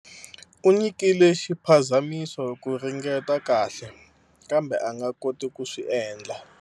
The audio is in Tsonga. U nyikile xiphazamiso ku ringeta kahle, kambe a nga koti ku swi endla